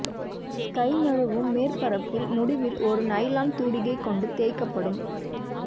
sky நழுவும் மேற்பரப்பில் முடிவில் ஒரு நைலான் தூரிகை கொண்டு தேய்க்கப்படும்